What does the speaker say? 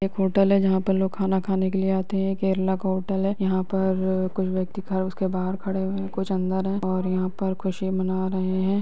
एक होटल है जहाँ पर लोग खाना खाने के लिए आते हैं केरला का होटल है यहाँ पर अ कुछ व्यक्ति ख उसके बहार खड़े हुए है कुछ अंदर है और यहाँ पर खुशी मना रहे है।